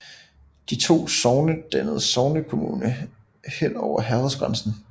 De to sogne dannede sognekommune hen over herredsgrænsen